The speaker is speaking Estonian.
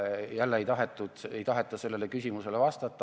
Jälle ei taheta sellele küsimusele vastata.